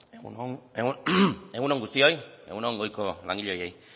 egun on guztioi egun on goiko langileei ere bai